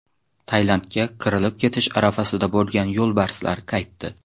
Tailandga qirilib ketish arafasida bo‘lgan yo‘lbarslar qaytdi.